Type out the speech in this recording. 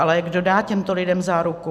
Ale kdo dá těmto lidem záruku?